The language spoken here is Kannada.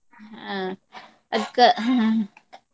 ಅಹ್ ಅದ್ಕ ಹ್ಮ್ .